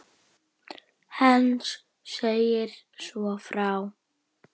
Heinz segir svo frá